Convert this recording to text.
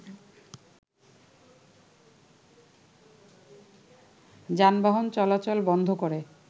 যানবাহন চলাচল বন্ধ করে